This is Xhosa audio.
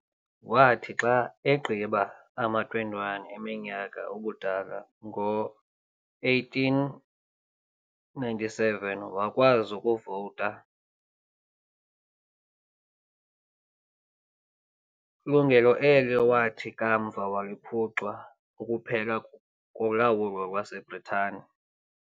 Wathi xa egqiba ama-21 eminyaka ubudala ngo-1897, wakwazi ukuvota, lungelo elo awathi kamva waliphucwa, ukuphela kolawulo lwaseBritane.